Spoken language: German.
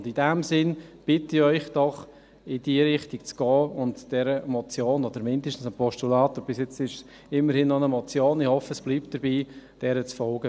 In diesem Sinne bitte ich Sie doch, in diese Richtung zu gehen und dieser Motion oder zumindest dem Postulat – bis jetzt ist es ja immerhin noch eine Motion, ich hoffe, es bleibt dabei – zu folgen.